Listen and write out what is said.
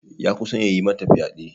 Ya kusan ya yi mata fyade.